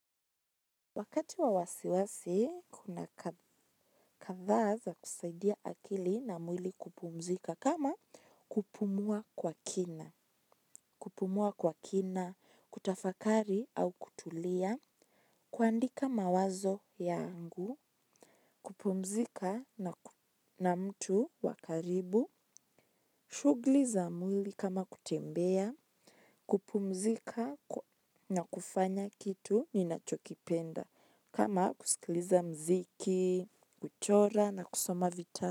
Wakati wa wasiwasi, kuna katha za kusaidia akili na mwili kupumzika kama kupumua kwa kina. Kupumua kwa kina, kutafakari au kutulia, kuandika mawazo yangu, kupumzika na mtu wakaribu, shuguli za mwili kama kutembea kupumzika na kufanya kitu ninacho kipenda kama kusikiliza mziki, kuchora na kusoma vitabu.